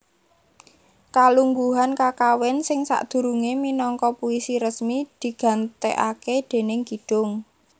Kalungguhan kakawin sing sadurungé minangka puisi resmi digantèkaké déning kidung